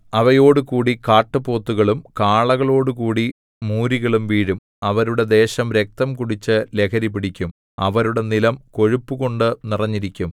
അവയോടുകൂടി കാട്ടുപോത്തുകളും കാളകളോടുകൂടി മൂരികളും വീഴും അവരുടെ ദേശം രക്തം കുടിച്ചു ലഹരിപിടിക്കും അവരുടെ നിലം കൊഴുപ്പുകൊണ്ടു നിറഞ്ഞിരിക്കും